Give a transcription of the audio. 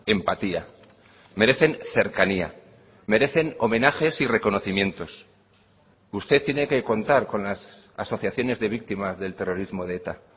empatía merecen cercanía merecen homenajes y reconocimientos usted tiene que contar con las asociaciones de víctimas del terrorismo de eta